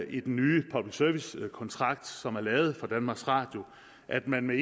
i den nye public service kontrakt som er lavet for danmarks radio at man med